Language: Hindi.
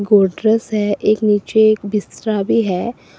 पोट्रेट है एक नीचे एक स्ट्रा भी है।